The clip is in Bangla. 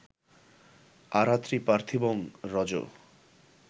আরাত্রি পার্থিবং রজঃ